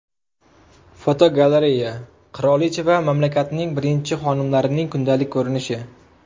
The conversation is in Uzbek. Fotogalereya: Qirolicha va mamlakatning birinchi xonimlarining kundalik ko‘rinishi.